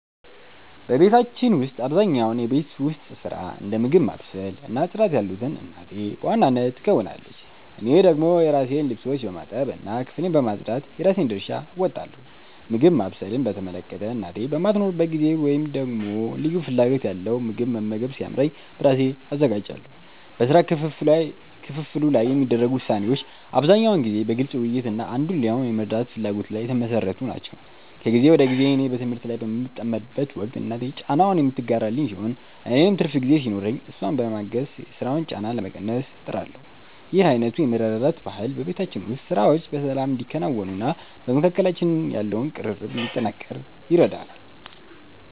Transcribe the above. በቤታችን ውስጥ አብዛኛውን የቤት ውስጥ ሥራ፣ እንደ ምግብ ማብሰል እና ጽዳት ያሉትን እናቴ በዋናነት ትከውናለች። እኔ ደግሞ የራሴን ልብሶች በማጠብ እና ክፍሌን በማጽዳት የራሴን ድርሻ እወጣለሁ። ምግብ ማብሰልን በተመለከተ፣ እናቴ በማትኖርበት ጊዜ ወይም ደግሞ ልዩ ፍላጎት ያለው ምግብ መመገብ ሲያምረኝ በራሴ አዘጋጃለሁ። በሥራ ክፍፍሉ ላይ የሚደረጉ ውሳኔዎች አብዛኛውን ጊዜ በግልጽ ውይይት እና አንዱ ሌላውን የመርዳት ፍላጎት ላይ የተመሠረቱ ናቸው። ከጊዜ ወደ ጊዜ እኔ በትምህርት በምጠመድበት ወቅት እናቴ ጫናውን የምትጋራልኝ ሲሆን፣ እኔም ትርፍ ጊዜ ሲኖረኝ እሷን በማገዝ የሥራ ጫናዋን ለመቀነስ እጥራለሁ። ይህ አይነቱ የመረዳዳት ባህል በቤታችን ውስጥ ሥራዎች በሰላም እንዲከናወኑና በመካከላችን ያለው ቅርርብ እንዲጠናከር ይረዳል።